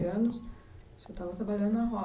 Anos, você estava trabalhando na roça.